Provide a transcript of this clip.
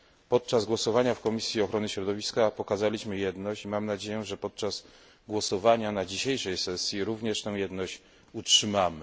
Podczas głosowania w Komisji Ochrony Środowiska pokazaliśmy jedność i mam nadzieję, że podczas głosowania na dzisiejszej sesji również tę jedność utrzymamy.